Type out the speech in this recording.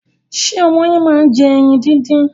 Ṣé ọmọ yín máa ń jẹ ẹyin díndín?